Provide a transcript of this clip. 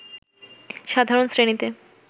সাধারণ শ্রেণীতে